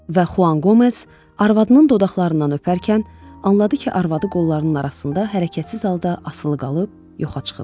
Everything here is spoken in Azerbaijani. Və Xuan Qomez arvadının dodaqlarından öpərkən anladı ki, arvadı qollarının arasında hərəkətsiz halda asılı qalıb, yoxa çıxıb.